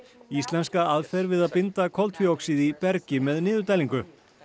íslenska aðferð við að binda koltvíoxíð í bergi með niðurdælingu